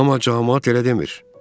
Amma camaat elə demir.